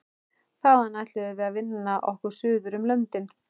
Þaðan ætluðum við að vinna okkur suður um löndin.